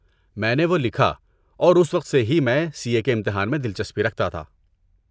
میں نے وہ لکھا اور اس وقت سے ہی میں سی اے کے امتحان میں دلچسپی رکھتا تھا۔